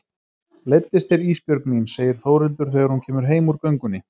Leiddist þér Ísbjörg mín, segir Þórhildur þegar hún kemur heim úr göngunni.